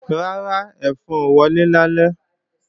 Rárá, ẹ̀fọn ò wọlé lálẹ́